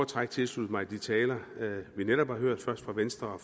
træk tilslutte mig de talere vi netop har hørt først fra venstre og